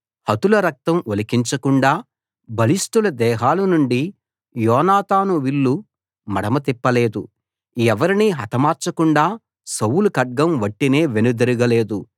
హతుల రక్తం ఒలికించకుండా బలిష్టుల దేహాలనుండి యోనాతాను విల్లు మడమ తిప్పలేదు ఎవరినీ హతమార్చకుండా సౌలు ఖడ్గం వట్టినే వెనుదిరగ లేదు